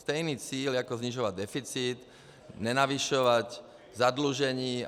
Stejný cíl jako snižovat deficit, nenavyšovat zadlužení.